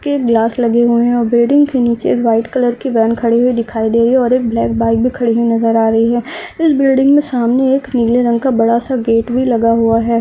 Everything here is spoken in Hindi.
के ग्लास लगे हुए है ओर बिल्डिंग के नीचे व्हाइट कलर की वेन खड़ी हुई दिखाई दे रही है ओर एक ब्लैक बाइक भी खड़ी हुई नजर आ रही है इस बिल्डिंग मे सामने नीले रंग का बडा सा गीट भी लगा हुआ है।